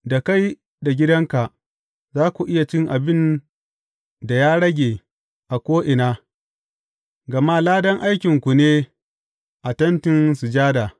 Da kai da gidanka, za ku iya cin abin da ya rage a ko’ina, gama ladan aikinku ne a Tentin Sujada.